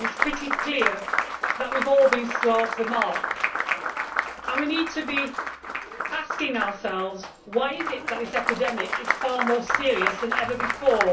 It is pretty clear that we have all been slow off the mark, and we need to be asking ourselves why is it that this epidemic is far more serious than ever before?